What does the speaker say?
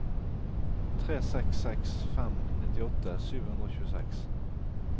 tre seks seks fem nittiåtte sju hundre og tjueseks